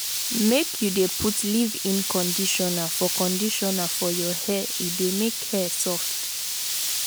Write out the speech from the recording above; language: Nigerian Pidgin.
make you dey put leave-in conditioner for conditioner for your hair e dey make hair soft.